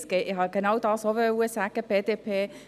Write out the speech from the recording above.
Ich habe genau dasselbe auch sagen wollen.